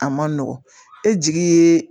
A man nɔgɔn e jigi ye